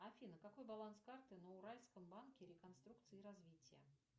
афина какой баланс карты на уральском банке реконструкции и развития